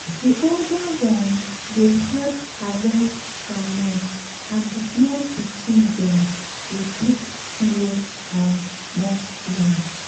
the older ones dey help harvest groundnut and the small pikin dem dey pick snail and mushroom.